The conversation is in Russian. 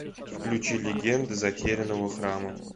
включи легенды затерянного храма